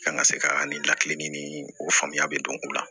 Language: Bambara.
An ka se ka ni lakile ni o faamuya bɛ don o la